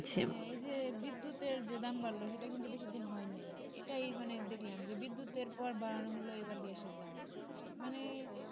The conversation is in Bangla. এই যে বিদ্যুতের যে দাম বাড়লো সেটা কিন্তু বেশি দিন হয়নি এটাই মানে দেখলাম বিদ্যুতের পর বাড়ানো হলো এবার গ্যাসের দাম মানে